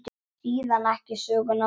Síðan ekki söguna meir.